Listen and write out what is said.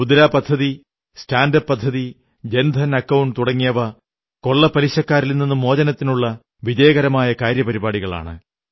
മുദ്രാ പദ്ധതി സ്റ്റാൻഡ്അപ് പദ്ധതി ജൻധൻ അക്കൌണ്ട് തുടങ്ങിയവ കൊള്ളപ്പലിശക്കാരിൽ നിന്നു മോചനത്തിനുള്ള വിജയകരമായ കാര്യപരിപാടികളാണ്